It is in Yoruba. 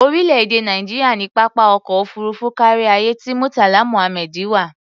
Orílẹ̀-èdè Nàìjíríà ní pápá ọkọ̀ òfuurufú káríayé ti Murtala Muhammed wà.